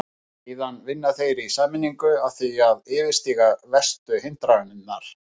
Síðan vinna þeir í sameiningu að því að yfirstíga verstu hindranirnar.